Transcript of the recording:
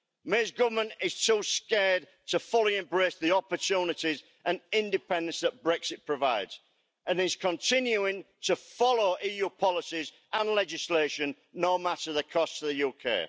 May's government is too scared to fully embrace the opportunities and independence that Brexit provides, and is continuing to follow EU policies and legislation, no matter the cost to the UK.